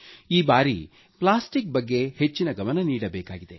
ಈ ಬಾರಿ ಪ್ಲಾಸ್ಟಿಕ್ ಬಗ್ಗೆ ಹೆಚ್ಚಿನ ಗಮನ ನೀಡಬೇಕಿದೆ